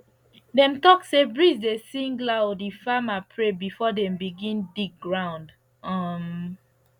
dem talk say breeze dey sing loud if farmer pray before dem begin dig ground um